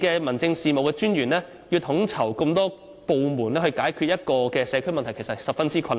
民政事務專員要統籌多個部門解決一個社區問題，其實十分困難。